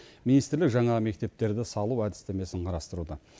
министрлік жаңа мектептерді салу әдістемесін қарастыруда